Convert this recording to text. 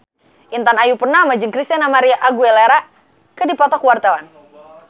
Intan Ayu Purnama jeung Christina María Aguilera keur dipoto ku wartawan